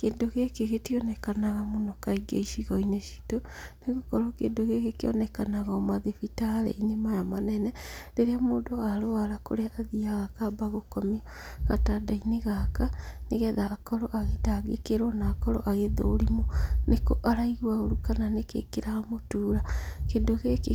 Kĩndũ gĩkĩ gĩtionekanaga mũno kaingĩ icigo-inĩ citũ, nĩ gũkorwo kĩndũ gĩkĩ kĩonekaga o mathibitarĩ-inĩ maya manene, rĩrĩa mũndũ arũara kũrĩa athiaga akamba gũkomio gatanda-inĩ gaka, nĩgetha akorwo agĩtangĩkĩrwo na akorwo agĩthũrimwo nĩkũ araigwa ũru kana nĩkĩĩ kĩramũtuura, kĩndũ gĩkĩ